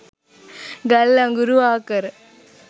ගල් අඟුරු ආකර